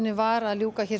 var að ljúka